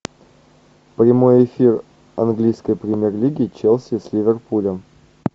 прямой эфир английской премьер лиги челси с ливерпулем